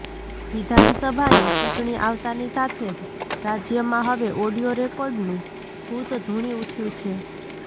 વિધાનસભાની ચૂંટણી આવતાની સાથે જ રાજ્યમાં હવે ઓડિયો રેકોર્ડનું ભુત ધુણી ઉઠયું છે